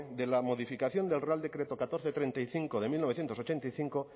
de la modificación del real decreto catorce barra treinta y cinco de mil novecientos ochenta y cinco